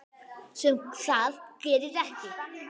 Sem það gerir ekki.